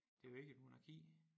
Det jo ikke et monarki